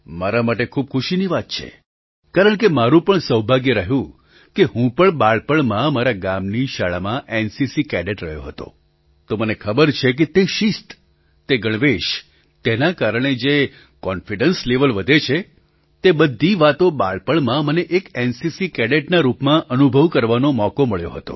મારા માટે ખૂબ જ ખુશીની વાત છે કારણકે મારું પણ સૌભાગ્ય રહ્યું કે હું પણ બાળપણમાં મારા ગામની શાળામાં એનસીસી કેડેટ રહ્યો હતો તો મને ખબર છે કે તે શિસ્ત તે ગણવેશ તેના કારણે જે કોન્ફિડન્સ લેવેલ વધે છે તે બધી વાતો બાળપણમાં મને એક એનસીસી કેડેટના રૂપમાં અનુભવ કરવાનો મોકો મળ્યો હતો